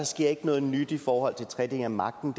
sker noget nyt i forhold til tredeling af magten